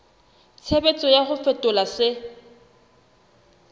tshebetso ya ho fetola se